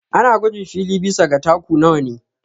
Ana gwajin fili bisa ga taku nawa ne